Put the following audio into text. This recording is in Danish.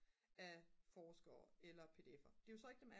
af forskere eller pdf'ere